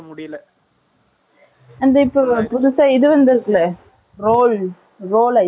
இப்ப புதுசா இது வந்துருச்சுல்ல? Roll , roll ice , ice roll